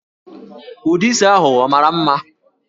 Ụdị isi ahụ ọ mara mma?